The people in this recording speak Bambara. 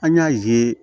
An y'a ye